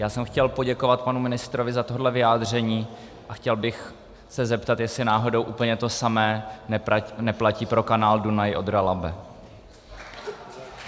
Já jsem chtěl poděkovat panu ministrovi za tohle vyjádření a chtěl bych se zeptat, jestli náhodou úplně to samé neplatí pro kanál Dunaj-Odra-Labe.